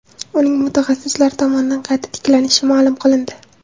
Uning mutaxassislar tomonidan qayta tiklanishi ma’lum qilindi.